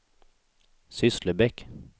Sysslebäck